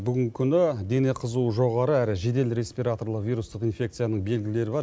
бүгінгі күні дене қызуы жоғары әрі жедел респираторлы вирустық инфекцияның белгілері бар